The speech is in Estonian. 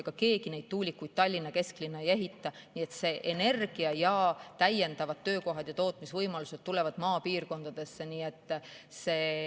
Ega keegi neid tuulikuid Tallinna kesklinna ei ehita, nii et täiendavad töökohad ja tootmisvõimalused tulevad maapiirkondadesse.